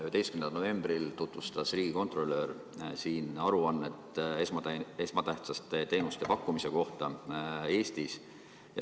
11. novembril tutvustas riigikontrolör siin aruannet esmatähtsate teenuste pakkumise kohta Eestis.